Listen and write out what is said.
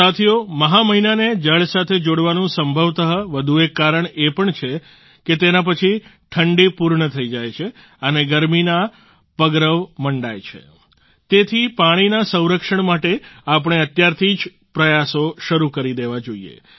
સાથીઓ મહા મહિનાને જળ સાથે જોડવાનું સંભવતઃ વધુ એક કારણ એ પણ છે કે તેના પછી ઠંડી પૂર્ણ થઈ જાય છે અને ગરમીના પગરવ મંડાય છે તેથી પાણીના સંરક્ષણ માટે આપણે અત્યારથી જ પ્રયાસો શરૂ કરી દેવા જોઈએ